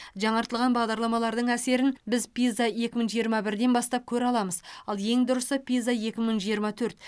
жаңартылған бағдарламалардың әсерін біз пиза екі мың жиырма бірден бастап көре аламыз ал ең дұрысы пиза екі мың жиырма төрт